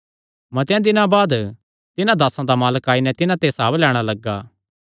मतेआं दिनां बाद तिन्हां दासां दा मालक आई नैं तिन्हां ते हसाब लैणां लग्गा